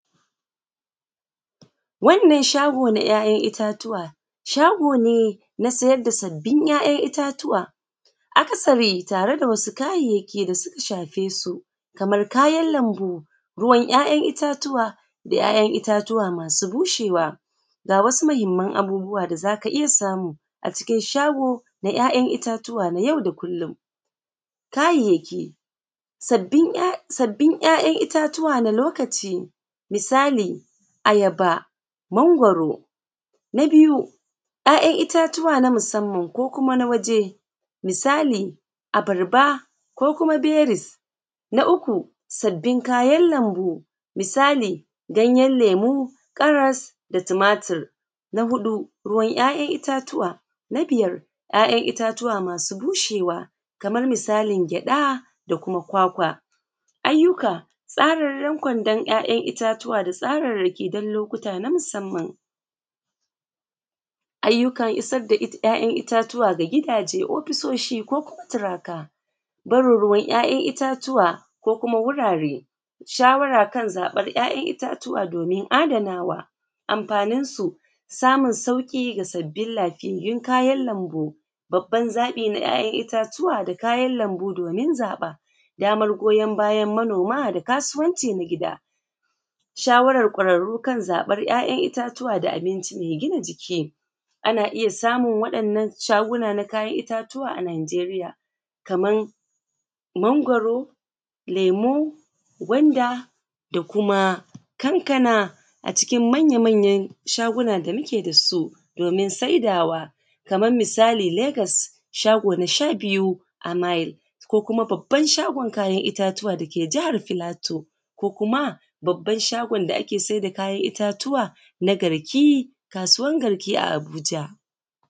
Wannan shago na ƴaƴan itatuwa ne, shago ne na sayar da sabbin ƴaƴan itatuwa akasari tare da wasu kayayyaki da suka shafe su kamar kayan lambu, ruwan kayan itatuwa da ƴaƴan itatuwa masu bushewa. Ga wasu mahimman abubuwa da zaka iyya samu a cikin shago na ƴaƴan ’ ittatuwa na yau da kullum. Kayayyaki sabbin ƴaƴan itatuwa na lokaci misali ayaba, mangwaro. Na biyu ƴaƴan itatuwa na musamman ko kuma na waje misali abarba ko kuma berries. An uku sabbin kayan lambu misali gayen lemu ƙaras da tumatur. Na huɗu ruwan ƴaƴan itatuwa. Na biyar ƴaƴan itatuwa masu bushewa kamar misalign gyaɗa da kuma kwakwa. Ayyuka tsarorin kwandon kwandon itatuwa da tsararraki dan lokuta na musamman. Ayyukan isarda ƴaƴan itatuwa ga gidaje, ofisoshi ko kuma turaka. Barin ruwan ƴaƴan itauwa ko kuma wurare, shawara kan zaɓan ƴaƴan itutuwa ko kuma wurare, shawara kan zaɓar ƴaƴan itatuwa domin adanawa. Amfaninsu samun sauki da sabbin kayan lambu babban zaɓi na kayan itatuwa kayan lambu domin zaɓen. Damar goyon bayan manoma da kasuwanci na gida. shawarar ƙwararru kan zaɓan da abinci mai gina jiki, ana iya samun waɗannan shagunan na kayan itatuwa a najeriya Kaman mangwaro, lemu, gwanda da kuma kankana a cikin manya manyan shaguna da muke dasu domin saidawa Kaman misali legas shago na sha biyu a mile ko kuma babban shagon kayan itatuwa dake jahar filato ko kuma babban shagon da ake saida kayan itattuwa dake garki kasuwan garki dake Abuja.